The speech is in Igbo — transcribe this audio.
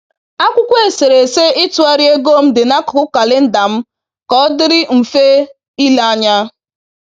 Akwụkwọ eserese ịtụgharị ego m dị n’akụkụ kalenda m ka ọdịrị mfe ile ya